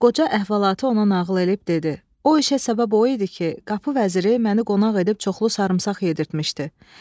Qoca əhvalatı ona nağıl eləyib dedi: "O işə səbəb o idi ki, qapı vəziri məni qonaq edib çoxlu sarımsaq yedirtmişdi.